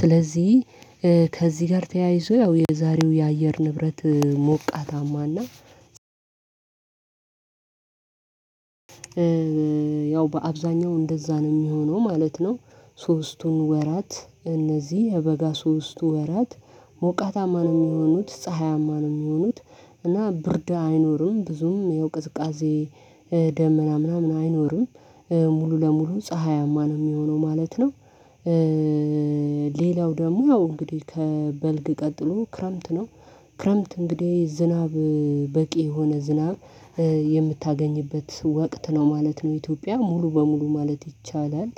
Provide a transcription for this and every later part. ስለዚህ ከዚህ ጋር ተያይዞ ያው የዛሬው የአየር ንብረት ሞቃታማና ያው በአብዛኛው እንደዛ ነው የሚሆነው ማለት ነው። ሶስቱን ወራት እነዚህ የበጋ ሶስቱ ወራት ሞቃታማ ነው የሚሆኑት ፀሀያማ ነው የሚሆኑት እና ብርድ አይኖርም ብዙም ያው ቅዝቃዜ ደመና ምናምን አይኖርም ሙሉ ለሙሉ ፀሀያማ ነው የሚሆነው ማለት ነው። ሌላው ደግሞ ያው እንግዲህ ከበልግ ቀጥሎ ክረምት ነው ክረምት እንግዲህ ዝናብ በቂ የሆነ ዝናብ የምታገኝበት ወቅት ነው ማለት ነው ኢትዮጵያ ሙሉ በሙሉ ማለት ይቻላል።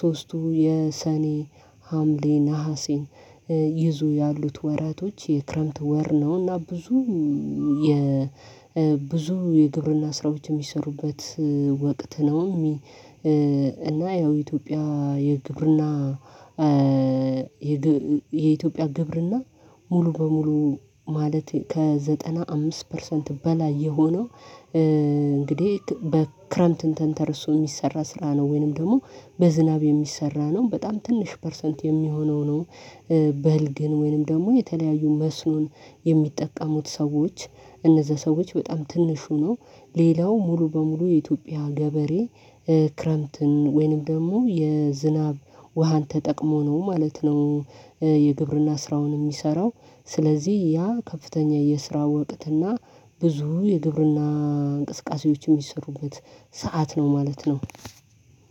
ሶስቱ የሰኔ ሀምሌ ነሀሴን ይዞ ያሉት ወራቶች የክረምት ወር ነውና ብዙ የ ብዙ የግብርና ስራዎች የሚሰሩበት ወቅት ነው። እና ያው ኢትዮጵያ የግብርና የኢትዮጵያ ግብርና ሙሉ በሙሉ ማለት ከዘጠና አምስት ፐርሰንት በላይ የሆነው እንግዲህ ክረምትን ተንተርሶ የሚሰራ ስራ ነው ወይንም ደግሞ በዝናብ የሚሰራ ነው በጣም ትንሽ ፐርሰንት የሚሆነው ነው። በልግን ወይንም ደግሞ የተለያዩ መስኖን የሚጠቀሙት ሰዎች እነዛ ሰዎች በጣም ትንሹ ነው ሌላው ሙሉ በሙሉ የኢትዮጵያ ገበሬ ክረምትን ወይንም ደግሞ የዝናብ ውሃን ተጠቅሞ ነው ማለት ነው። የግብርና ስራውን የሚሰራው ስለዚህ ያ ከፍተኛ የስራ ወቅትና ብዙ የግብርና እንቅስቃሴዎች የሚሰሩበት ሰዓት ነው ማለት ነው።